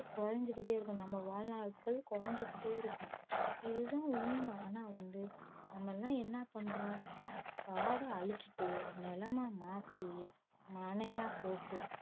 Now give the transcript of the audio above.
குறைஞ்சுக்கிட்டே இருக்கும் நம்ம வாழ்நாள்கள் குறைஞ்சுக்கிட்டே இருக்கும் இதுதான் உண்மை ஆனா வந்து நம்ம எல்லாம் என்ன பண்றோம் காடை அழிச்சிட்டு நிலமா மாத்தி மனையா போட்டு